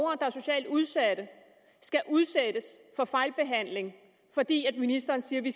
er socialt udsatte skal udsættes for fejlbehandling fordi ministeren siger at vi